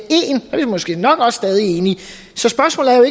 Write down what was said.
måske nok også stadig enige